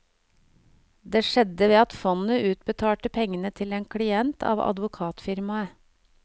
Det skjedde ved at fondet utbetalte pengene til en klient av advokatfirmaet.